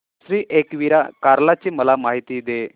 श्री एकविरा कार्ला ची मला माहिती दे